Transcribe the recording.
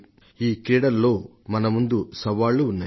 ఈ క్రీడలలో మన ముందు సవాళ్లు ఉన్నాయి